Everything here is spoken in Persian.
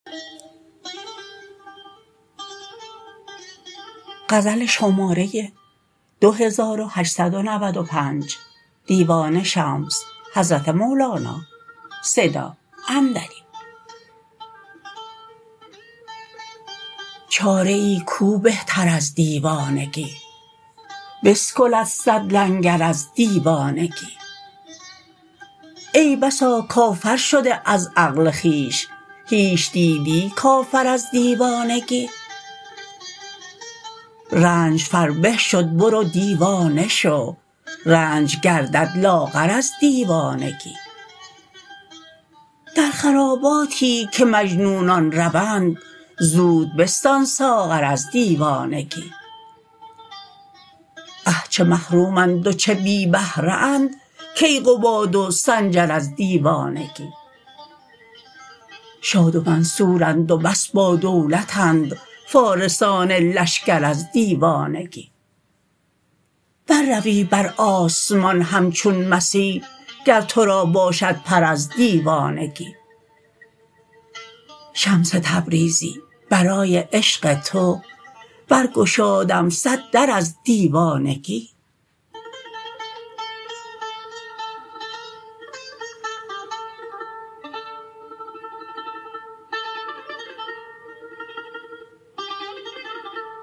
چاره ای کو بهتر از دیوانگی بسکلد صد لنگر از دیوانگی ای بسا کافر شده از عقل خویش هیچ دیدی کافر از دیوانگی رنج فربه شد برو دیوانه شو رنج گردد لاغر از دیوانگی در خراباتی که مجنونان روند زود بستان ساغر از دیوانگی اه چه محرومند و چه بی بهره اند کیقباد و سنجر از دیوانگی شاد و منصورند و بس بادولتند فارسان لشکر از دیوانگی برروی بر آسمان همچون مسیح گر تو را باشد پر از دیوانگی شمس تبریزی برای عشق تو برگشادم صد در از دیوانگی